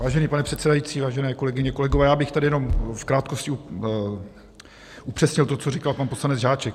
Vážený pane předsedající, vážené kolegyně, kolegové, já bych tady jenom v krátkosti upřesnil to, co říkal pan poslanec Žáček.